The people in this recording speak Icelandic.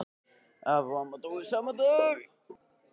Afi og amma dóu sama daginn.